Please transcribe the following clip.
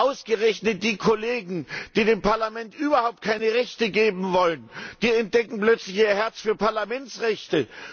Ausgerechnet die Kollegen, die dem Parlament überhaupt keine Rechte geben wollen, die entdecken plötzlich ihr Herz für Parlamentsrechte.